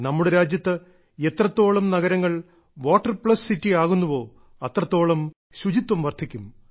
നമ്മുടെ രാജ്യത്ത് എത്രത്തോളം നഗരങ്ങൾ വാട്ടർ പ്ലസ് സിറ്റി ആകുന്നുവോ അത്രത്തോളം ശുചിത്വം വർദ്ധിക്കും